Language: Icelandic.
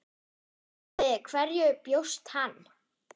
En við hverju bjóst hann?